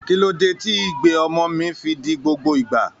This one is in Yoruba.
Kí ló dé tí igbe ọmọ mi fi di gbogbo ìgbà?